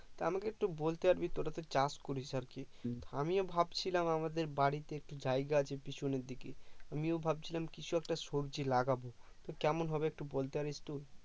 তা আমাকে একটু বলতে পারবি তোরা তো চাষ করিস আর কি আমিও ভাবছিলাম আমাদের বাড়িতে একটু জায়গা আছে পিছনের দিকে আমিও ভাবছিলাম কিছু একটা সবজি লাগাবো তো কেমন হবে তো একটু বলতে পারবি একটু